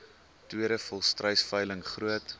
tweede volstruisveiling groot